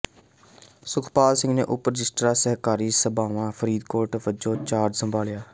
ਸੁਖਪਾਲ ਸਿੰਘ ਨੇ ਉਪ ਰਜਿਸਟਰਾਰ ਸਹਿਕਾਰੀ ਸਭਾਵਾਂ ਫਰੀਦਕੋਟ ਵਜੋਂ ਚਾਰਜ ਸੰਭਾਲਿਆ